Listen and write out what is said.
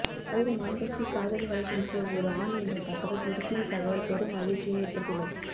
ஆயிரம் ஆண்களுக்கு காதல் வலை வீசிய ஒரு ஆண் என்ற தகவல் திடுக்கிடும் தகவல் பெரும் அதிர்ச்சியை ஏற்படுத்தியுள்ளது